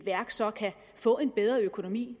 værk så kan få en bedre økonomi